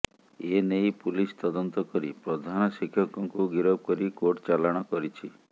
ଏନେଇ ପୁଲିସ୍ ତଦନ୍ତ କରି ପ୍ରଧାନଶିକ୍ଷକଙ୍କୁ ଗିରଫ କରି କୋର୍ଟ ଚାଲାଣ କରିଛି